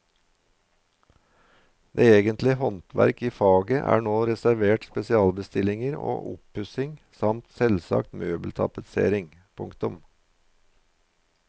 Det egentlige håndverk i faget er nå reservert spesialbestillinger og oppussing samt selvsagt møbeltapetsering. punktum